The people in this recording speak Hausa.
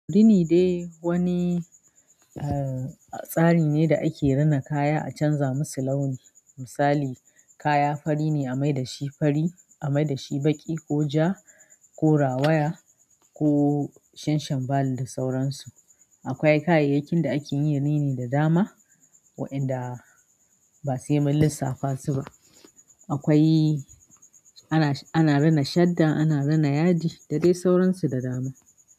Rini dai wani, eh, tsari ne da ake rina kaya a canza musu launi. Misali, kaya fari ne a mai dashi fari, a mai dashi baƙi ko ja ko rawaya ko shanshanba da sauransu. Akwai kayayyakin da ake yin rini da dama waɗanda ba sai mun lissafasu ba. Akwai, ana, ana rina shadda, ana rina yadi da dai sauransu da dama.